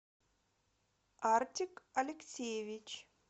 артик алексеевич